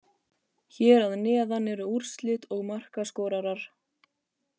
Hér að neðan eru úrslit og markaskorarar.